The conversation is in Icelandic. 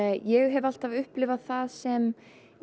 ég hef alltaf upplifað það frekar sem